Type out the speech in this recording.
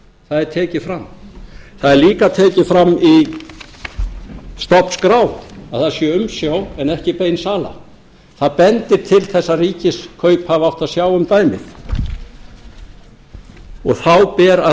það er tekið fram það er líka tekið fram í stofnskrá að það sé umsjá en ekki bein sala það bendir til þess að ríkiskaup hafi átt að sjá um dæmið og þá ber að